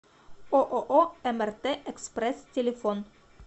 ооо мрт экспресс телефон